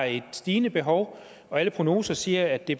et stigende behov og alle prognoser siger at det